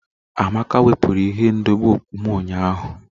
Amaka wepụrụ ihe ndobe okpu m ụnyahụ